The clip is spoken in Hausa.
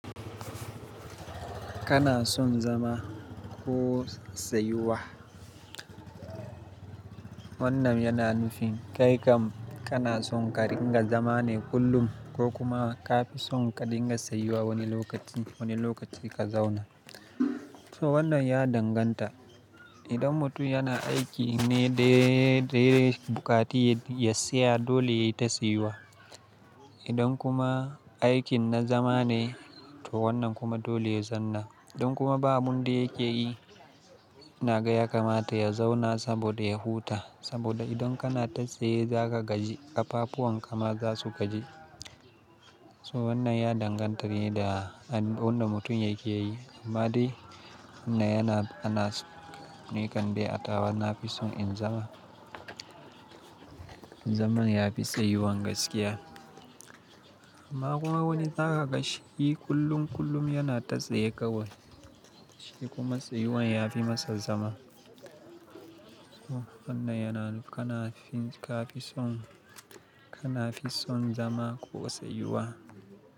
Kana son zama ko tsayuwa? Wannan yana nufin kai kam kana son ka ringa zama ne kullum ko kuma ka fi son ka ringa tsayuwa wani lokaci, wani lokaci ka zauna. So wannan ya danganta. Idan mutum yana aiki ne da ya bukati ya tsaya dole yayi ta tsayuwa. Idan kuma aikin na zama ne to wannan kuma dole ya zanna. Idan kuma babu abin da yake yi, ina ga ya kamata ya zauna saboda ya huta saboda idan kana ta tsaye za ka gaji, ƙafafuwan ka ma za su gaji. So wannan ya danganta ne da wanda mutum yake yi. Amma dai wannan yana, ana ni kan de, atawa na fi son in zama. Zaman ya fi tsayuwan gaskiya. Amma kuma wani zaka ga shi kullum kullum yana ta tsaye kawai. Shi kuma tsayuwan ya fi masa zama. So wannan yana nuf kana fi, ka fi son, kana fi son zama ko tsayuwa?